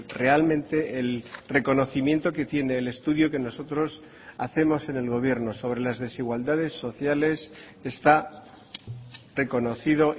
realmente el reconocimiento que tiene el estudio que nosotros hacemos en el gobierno sobre las desigualdades sociales está reconocido